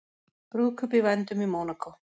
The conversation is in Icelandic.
Brúðkaup í vændum í Mónakó